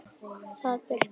bað Birkir.